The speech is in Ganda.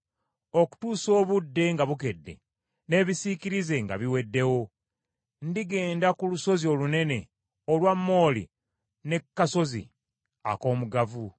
Okutuusa obudde nga bukedde, n’ebisiikirize nga biweddewo, ndigenda ku lusozi olunene olwa mooli ne ku kasozi ak’omugavu.